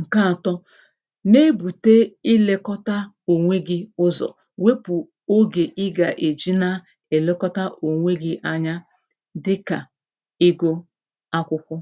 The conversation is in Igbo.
ǹke àtọ na-ebùte ilēkọta ònwe gi ụzọ̀ wepù ogè ịgà èji na èlekọta ònwe gi anya dịkà ego akwụkwọ